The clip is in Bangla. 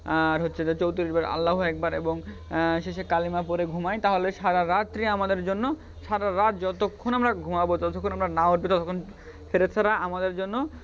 আর হচ্ছে যে চৌত্রিশ বার আল্লাহ্‌ ও একবার এবং আহ শেষে কালিমা পড়ে ঘুমাই তাহলে সারারাত্রি আমাদের জন্য সারারাত যতক্ষণ আমরা ঘুমাব যতক্ষণ আমরা না উঠব ততক্ষণ ফেরেস্তারা আমাদের জন্য আহ আমুলনামাই